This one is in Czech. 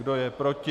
Kdo je proti?